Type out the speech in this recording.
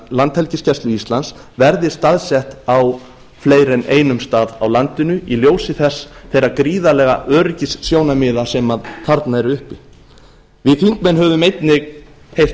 landhelgisgæslu íslands verði staðsett á fleiri en einum stað á landinu í ljósi þeirra gríðarlegu öryggissjónarmiða sem þarna eru uppi við þingmenn höfum einnig heyrt